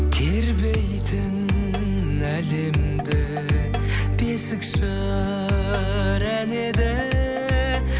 тербейтін әлемді бесік жыр әні еді